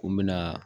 Ko n bɛna